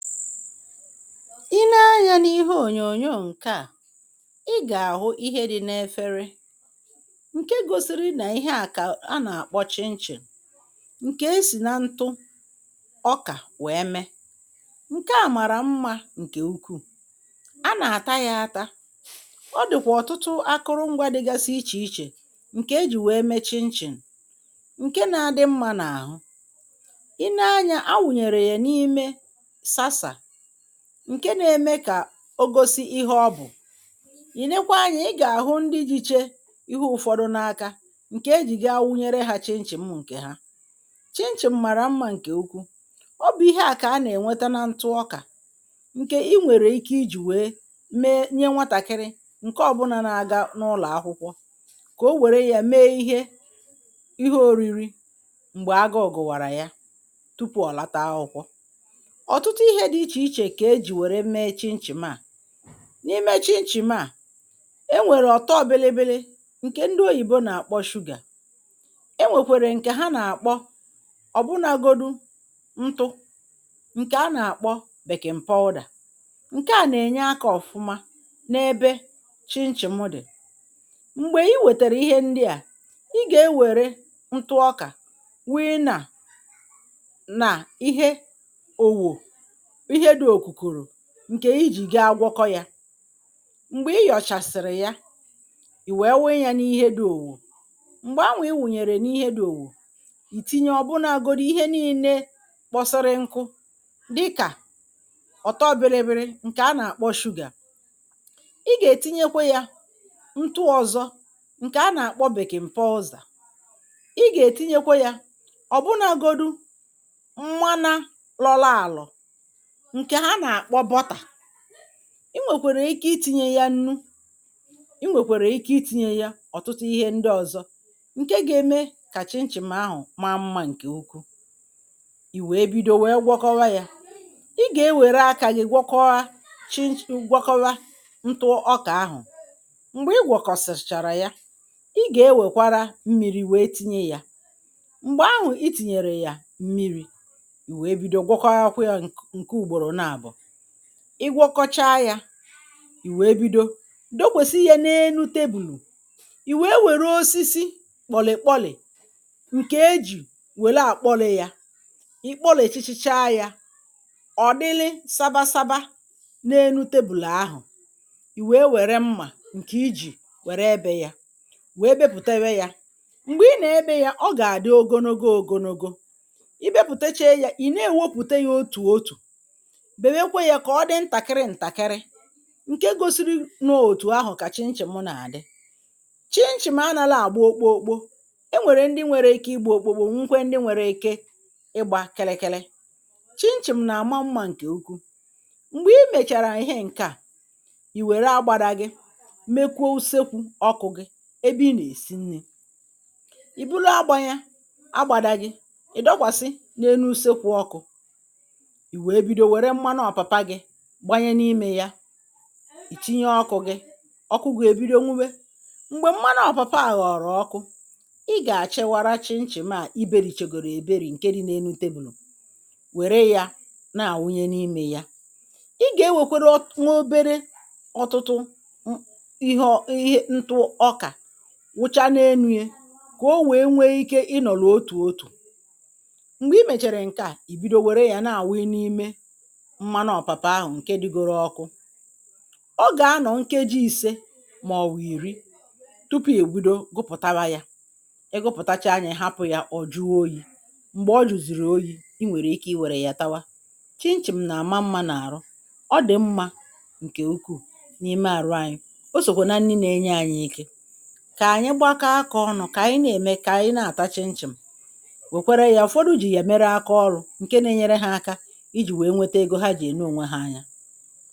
i nee anyā n’ihe ònyònyò ǹkè a ị gà-àhụ ihe di n’efere ǹke gosiri nà ihe a kà a nà-àkpọ chinchin ǹkè e sì na ntu ọkà wee mee ǹke a màrà mmā ǹkè ukwuu a nà-àta ya àta ọ dị̀kwà ọ̀tụtụ akụrụ ngwā dịgasị ichè ichè ǹkè ejì wee mee chinchin ǹke na-adị mmā n’àhụ i nee anyā a wùnyèrè ya n’ime sasà ǹke na-ème kà o gosi ihe ọ bụ̀ i nèkwa anyā ị gà-àhụ ndị diche ihe ụ̀fọdụ n’aka ǹkè ejì bịa wunyere hā chinchin ǹkè ha chinchin màrà mmā ǹkè ukwuu ọ bụ̀ ihe a kà a nà-ènweta na ntu ọkà ǹkè i nwèrè ike ijì wee mee nye nwatàkịrị ǹke ọbụna na-aga n’ụlọ̀ akwụkwọ kà o wère ya mee ihe ihe òriri m̀gbè agụụ gụ̀wàrà ya tupu ọ̀ lata akwụkwọ ọ̀tụtụ ihe di ichè ichè kà ejì wère mee chinchin a n’ime chinchin a e nwèrè ọ̀tọ bilibili ǹkè ndị oyìbi nà-àkpọ sugar e nwèkwèrè ǹkè ha nà-àkpọ ọ̀ bụnāgodu ntu ǹkè a nà-àkpọ baking powder ǹkè a nà-ènye akā ọ̀fụma n'ebe chinchin dì m̀gbè i wètèrè ihe ndịa ị gà-ewère ntu ọkà wịị nà na ihe owò ihe dī òkùkùrù ǹkè ijì gaa gwọkọ yā m̀gbè ị yọ̀chàsị̀rị̀ ya ì wee wịị ya n’ihe di òmìmì m̀gbè ahụ̀ i wùnyèrè n’ihe di òwùwù ìtinye ọ̀bụnāgodu ihe niilē kpọsịrị nku dịkà ọ̀tọ bilibili ǹkè a nà-àkpọ sugar ị gà-ètinyekwe yā ntu ọ̀zọ ǹkè a nà-àkpọ barking powder ị gà-ètinyekwe yā ọ̀ bụnāgodu mmana lọlọ àlọ̀ ǹkè ha nà-àkpọ butter i nwèkwàrà ike itīnye ya nnu i nwèkwàrà ike itīnye ya ọ̀tụtụ ihe ndị ọ̀zọ ǹke ga-eme kà chinchin ahụ̀ maa mmā ǹkè ukwuu ì wee bido wee gwọkọwa yā ị gà-ewère akā gi gwọkọwa chinchin gwọkọwa ntu ọkà ahụ̀ m̀gbè ịgwọ̀kọ̀sị̀chàrà ya ị gà-ewèkwara mmịrị̄ wee tinye ya m̀gbè ahụ itìnyèrè yà mmịrị̄ ì wee bido gwakọwakwa yā ǹke ùgbòrò nabọ̀ ị gwọkọcha yā ì wee bido dòkwèsi ya n’enu table ì wee wère osisi kpọ̀lị̀kpọlị̀ ǹkè ejì wèli àkpọlị̄ ya ị kpọlị̀sịsịcha yā ọ dị sabasaba n’enu table ahụ̀ ì wee wère mmà ǹkè i jì wère èbe ya wee bepùtewe yā m̀gbè ị nà-ebē ya ọ gà-àdị ogologo ògologo i bepùtecha ya ị na-èwepụ̀ta ya otù otù bèwekwe ya kà ọ di ntàkịrị ntàkịrị ǹke gosiri nà otù ahụ̀ kà chinchin nà-àdị chinchin anālọ àgba okpokpo e nwèrè ndị nwere ike ịgbā okpokpo nweekwa ndị nwere ike ịgbā kịrịkịrị chinchin nà-àma mmā ǹkè ukwuu m̀gbè i mèchàrà ihe ǹke a ì wère agbāra gi mekwuo usekwū ọkụ̄ gi ebe i nà-èsi nnī ì buru agbā ya agbāda gi ị̀ dọkwàsị n’enu ùsekwu ọkụ ì wee bido wère mmanụ ọ̀pàpa gī gbanye n’imē ya ì tinye ọkụ̄ gi ọkụ gi èbido nwuwe m̀gbe mmanụ ọ̀pàpa ghọrọ ọkụ ị gà-achịwara chinchin a i bērìchegòrò èberì ǹkè di n’enu table wère ya na-awị n’imē ya ị gà-ewèkwere nwa obere ọtụtụ ihe ọ ihe ntu ọkà wụcha n’enu ya kà o wee nwee ike ị nọ̀rọ̀ otù otù m̀gbè i mèchàrà ì bido nwère ya na-àwị n’ime mmanụ ọ̀pàpa ahụ ǹke digoro ọkụ ọ gà-anọ̀ nkeji ìse màọbụ ìri tupu ì bido gụpụ̀tawa ya ị gụpụ̀tacha ya ị̀ hapụ̄ ya ọ̀ jụọ oyī m̀gbè ọ jụ̀zị̀rị̀ oyī i nwèrè ike i wèrè ya tawa chinchin nà-àma mmā n’àrụ ọ dị̀ mmā ǹkè ukwuu n’ime àrụ ànyị o sòkwe na nni na-enye anyị ike kà ànyị gbakọ akā ọnị̄ kà ànyị na-ème kà ànyị na-àta chinchin wèkwere ya ụ̀fọdụ jì ya mere aka ọlụ̄ ǹkè na-enyere hā aka ijì wee wete egō ha jì ème ònwe ha anya